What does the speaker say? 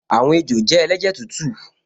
Àwọn ejò jẹ́ ẹlẹ́jẹ̀ tútù